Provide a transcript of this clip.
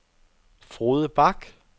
Frode Bach